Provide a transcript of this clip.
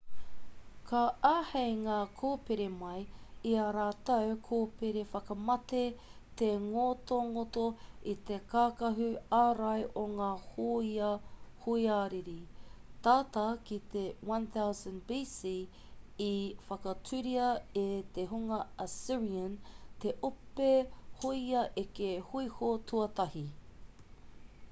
ka āhei ngā kōpere mai i ā rātou kōpere whakamate te ngotongoto i te kākahu ārai o ngā hōia hoariri tata ki te 1000 b.c. i whakatūria e te hunga assyrian te ope hōia eke hōiho tuatahi